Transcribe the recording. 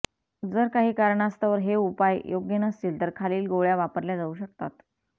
जर काही कारणास्तव हे उपाय योग्य नसतील तर खालील गोळ्या वापरल्या जाऊ शकतातः